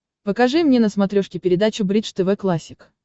покажи мне на смотрешке передачу бридж тв классик